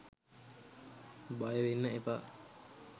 බයවෙන්න එපා.